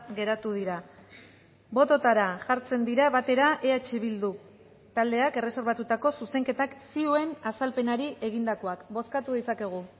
geratu dira bototara jartzen dira batera eh bildu taldeak erreserbatutako zuzenketak zioen azalpenari egindakoak bozkatu ditzakegu